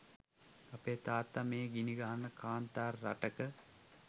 අපේ තාත්තා මේ ගිනිගහන කාන්තාර රටක